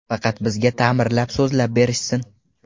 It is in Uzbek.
Faqat bizga ta’mirlab, sozlab berishsin.